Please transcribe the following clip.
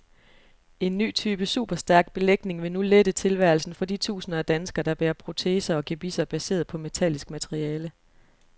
En ny type superstærk belægning vil nu lette tilværelsen for de tusinder af danskere, der bærer proteser og gebisser baseret på metallisk materiale.